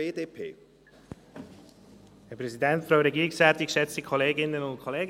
Vielen Dank für die Diskussion.